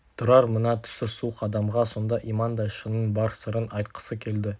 тұрар мына түсі суық адамға сонда имандай шынын бар сырын айтқысы келді